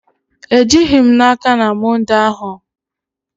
Ejighị m n'aka na Mọnde ahụ